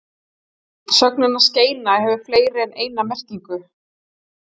sögnin að skeina hefur fleiri en eina merkingu